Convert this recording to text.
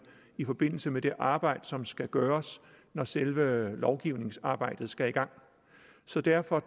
i forbindelse med det arbejde som skal gøres når selve lovgivningsarbejdet skal i gang så derfor